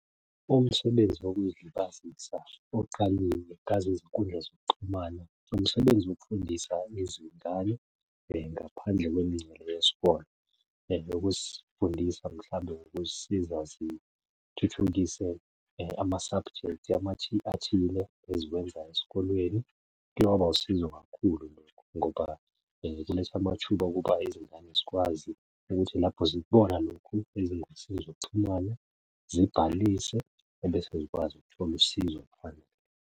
Umsebenzi wokuy'libazisa oqalilei ngazo izinkundla zokuxhumana, umsebenzi wokufundisa izingane ngaphandle kwenincele yesikole. Ukuzifundisa mhlawumbe ukuzisiza zithuthukise ama-subjects athile eziwenzayo esikolweni. Kuye kwaba wusizo kakhulu lokho ngoba kuletha amathuba ukuba izingane zikwazi ukuthi lapho zikubona lokhu ezingosini zokuxhumana zibhalise ebese zikwazi ukuthola usizo .